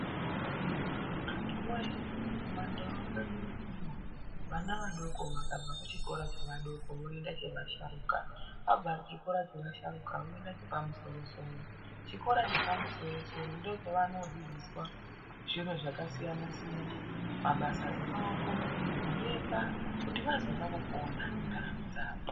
Antuwoye kumandau kwedu unonovana vadoko vakabva kuchikora chevadoko voenda chevasharukwa abva chikora chevasharukwa unoenda chepamusoro soro. Chikora chepamusoro soro ndochavanodzidziswa zviro zvakasiyana siyana mabasa emaoko, kuemba kuti vazoona kupona mundaramo dzavo.